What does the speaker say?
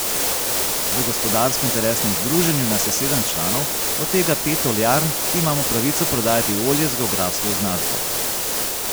V Gospodarsko interesnem združenju nas je sedem članov, od tega pet oljarn, ki imamo pravico prodajati olje z geografsko označbo.